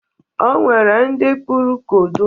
O nwere ndị kpụrụ kodo.